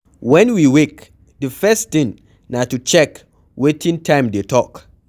When we wake, di first thing na to check wetin time dey talk